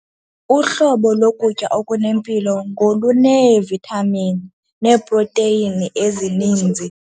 Uhlobo lokutya okunempilo ngoluneevithamini neeproteyini ezininzi.